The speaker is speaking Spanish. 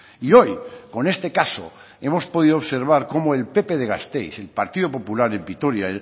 y hoy con este caso hemos podido observar cómo el pp de gasteiz el partido popular en vitoria